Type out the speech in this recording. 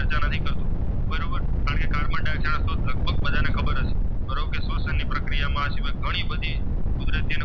કે શોસણ ની પ્રક્રિયા માં ઘણી બધી કુદરતી